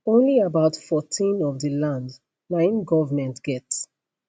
only about 14 of di land na im goment get